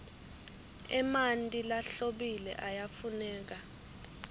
emanti lahlobile ayafuneka